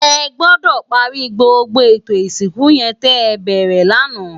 Ègbòdò pàri gbógbó étó isinkú yèn tè bèrè làná